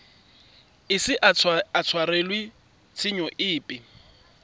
ise a tshwarelwe tshenyo epe